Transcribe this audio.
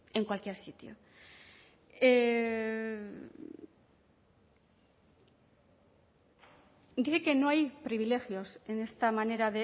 en cualquier sitio dice que no hay privilegios en esta manera